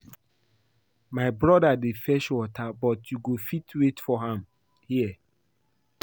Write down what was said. My broda dey fetch water but you go fit wait for am here